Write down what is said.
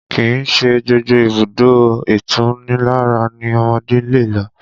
Kìí ṣe gbogbo ibùdó ìtunilára ni ọmọdé lè lọ